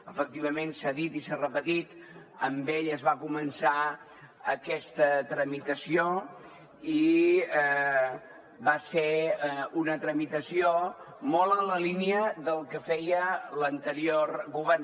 efectivament s’ha dit i s’ha repetit amb ell es va començar aquesta tramitació i va ser una tramitació molt en la línia del que feia l’anterior govern